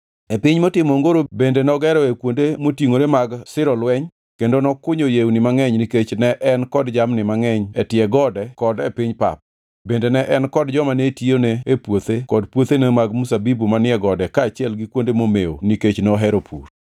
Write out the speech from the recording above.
E piny motimo ongoro bende nogeroe kuonde motingʼore mag siro lweny kendo nokunyo yewni mangʼeny nikech ne en kod jamni mangʼeny e tie gode kod e piny pap. Bende ne en kod joma ne tiyone e puothe kod puothene mag mzabibu manie gode kaachiel gi kuonde momew nikech nohero pur.